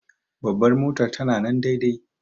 Bambar motar ta na nan daidai.